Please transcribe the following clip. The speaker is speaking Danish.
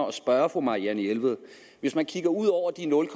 at spørge fru marianne jelved hvis man kigger ud over de nul